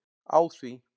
Á því